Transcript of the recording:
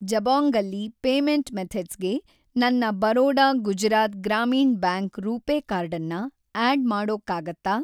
ಜಬೊಂಗಲ್ಲಿ payment ಮೆಥಡ್ಸ್‌ಗೆ ನನ್ನ Baroda Gujarat Gramin bank RuPay ಕಾರ್ಡನ್ನ ಆ್ಯಡ್‌ ಮಾಡೋಕ್ಕಾಗತ್ತಾ